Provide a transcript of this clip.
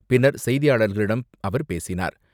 பின்னர் செய்தியாளர்களிடம் அவர் பேசினார்.